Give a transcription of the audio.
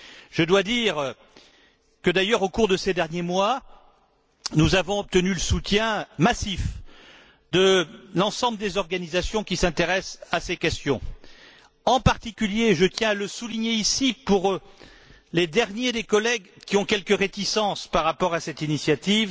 Je dois dire que, d'ailleurs, au cours de ces derniers mois, nous avons obtenu le soutien massif de l'ensemble des organisations qui s'intéressent à ces questions en particulier je tiens à le souligner ici pour les derniers des collègues qui ont quelques réticences par rapport à cette initiative